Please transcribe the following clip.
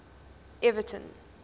everton